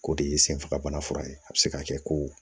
O de ye senfagabana furakɛ a bi se ka kɛ ko